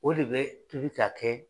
O de bɛ tobi ka kɛ